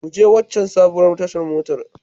Ku je waccan sabuwar tashar mota.